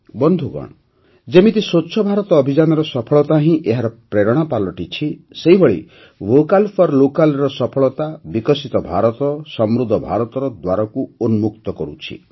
ବନ୍ଧୁଗଣ ଯେମିତି ସ୍ୱଚ୍ଛ ଭାରତ ଅଭିଯାନର ସଫଳତା ହିଁ ଏହାର ପ୍ରେରଣା ପାଲଟିଛି ସେହିଭଳି ଭୋକାଲ୍ ଫର୍ ଲୋକାଲ୍ ର ସଫଳତା ବିକଶିତ ଭାରତ ସମୃଦ୍ଧ ଭାରତର ଦ୍ୱାର ଉନ୍ମୁକ୍ତ କରୁଛି